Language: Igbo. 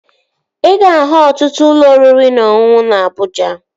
Ị ga-ahụ ọtụtụ ụlọ oriri na ọṅụṅụ na Abụja